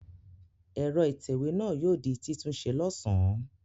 Ẹ̀rọ ìtẹ̀wé náà yóò di títúnṣe lọ́sàn-án.